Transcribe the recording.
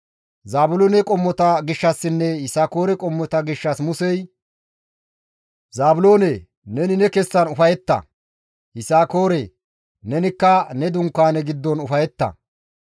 Zaabiloone qommota gishshassinne Yisakoore qommota gishshas Musey, «Zaabiloone! Neni ne kessan ufayetta; Yisakoore! Nenikka ne dunkaane giddon ufayetta.